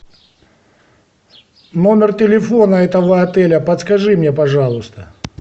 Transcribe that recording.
номер телефона этого отеля подскажи мне пожалуйста